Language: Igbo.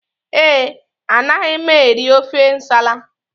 Ee, anaghị m eri ofe nsala